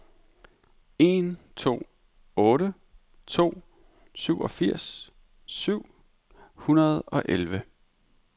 en to otte to syvogfirs syv hundrede og elleve